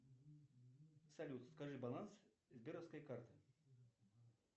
салют скажи баланс сберовской карты